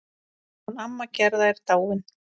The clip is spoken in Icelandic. Hún amma Gerða er dáin.